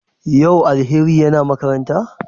Yau Alheri na makaranta?